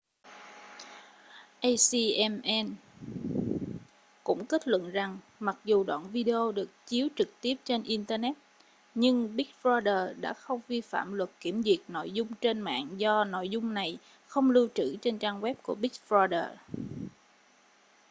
acma cũng kết luận rằng mặc dù đoạn video được chiếu trực tiếp trên internet nhưng big brother đã không vi phạm luật kiểm duyệt nội dung trên mạng do nội dung này không lưu trữ trên trang web của big brother